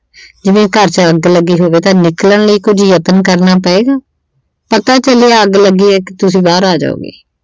ਜਿਵੇਂ ਘਰ ਚ ਅੱਗ ਲੱਗੀ ਹੋਵੇ ਤਾਂ ਨਿਕਲਣ ਲਈ ਕੁਝ ਯਤਨ ਕਰਨਾ ਪਏਗਾ। ਪਤਾ ਚੱਲੇ ਕਿ ਅੱਗ ਲੱਗੀ ਐ ਤੇ ਤੁਸੀਂ ਬਾਹਰ ਆ ਜਾਉਗੇ।